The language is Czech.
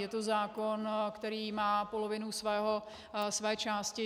Je to zákon, který má polovinu své části.